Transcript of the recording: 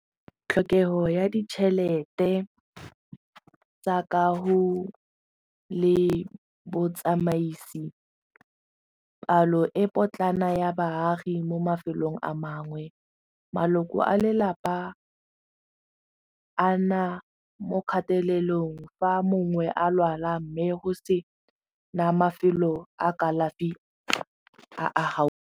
Tlhokego ya ditšhelete tsa le botsamaisi, palo e potlana ya baagi mo mafelong a mangwe, maloko a lelapa a na mo kgatelelong fa mongwe a lwala mme go sena mafelo a kalafi a a gaufi.